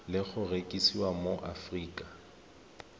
le go rekisiwa mo aforika